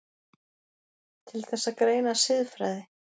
Til þess að greina siðfræði